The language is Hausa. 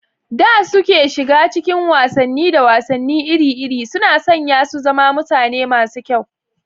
da suke shiga cikin wasanni da wasanni iri-iri, suna sanya su zama mutane masu kyau.